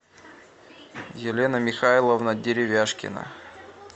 елена михайловна деревяшкина